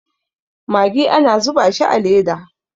magi ana zuba shi a Leda